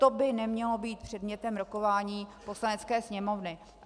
To by nemělo být předmětem rokování Poslanecké sněmovny.